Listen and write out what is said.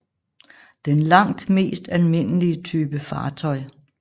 Den langt mest almindelige type fartøj